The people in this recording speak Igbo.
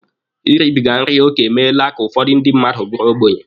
Iribiga nri oke emeela ka ụfọdụ ndị mmadụ bụrụ ogbenye.